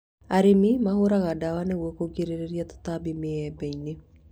Arĩmi mahũraga ndawa nĩguo kũgirĩrĩria tũtambi mĩembe-inĩ